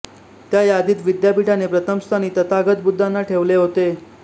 त्या यादीत विद्यापीठाने प्रथम स्थानी तथागत बुद्धांना ठेवले होते